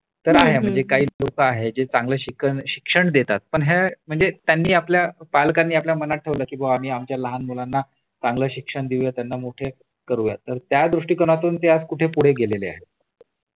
तर आहे म्हणजे काही लोक आहे जे चांगलं शिक्षण देतात पण ह्या म्हणजे त्यांनी आपल्या पालकांनी आपल्या मनात ठेवल की आम्ही आमच्या लहान मुलांना चांगल शिक्षण देऊयात त्यांना मोठे करूयात तर त्या दृष्टीकोनातून ते आज कुठे पुढे गेलेले आहेत